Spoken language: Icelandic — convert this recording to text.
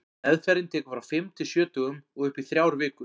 Meðferðin tekur frá fimm til sjö dögum og upp í þrjár vikur.